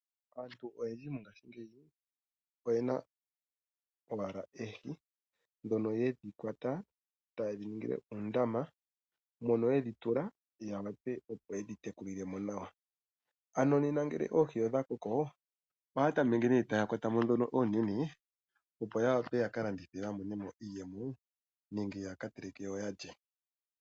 Aantu oyendji mo ngaashingeyi oye na owala oohi ndhoka yedhi kwata etaye dhi ningile uundama mono ye dhi tula, ya wape opo yedhi tekulile mo nawa. Ano nena ngele oohi odha koko ohaya tame ke taya kwata mo ndhono oonene opo ya wape ya ka landithe dho dhimwe ya teleke ya lye.